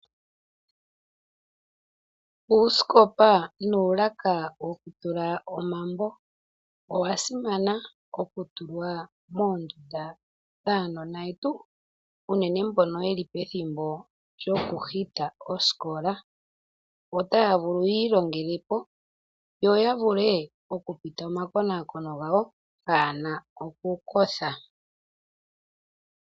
Uusikopa nuulaka wokutula omambo, owasimana okulwa moondunda dhaanona yetu unene mbono yeli pethimbo lyokuhita osikola. Otaavulu yiilongelepo yoyavule okupita omakonakono gawo pwaana okukotha.